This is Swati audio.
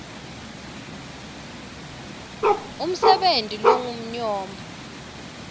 b umsebenti longumnyombo